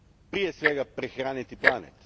prije svega, prehraniti planet.